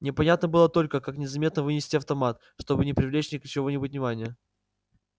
непонятно было только как незаметно вынести автомат чтобы не привлечь чьего-нибудь внимания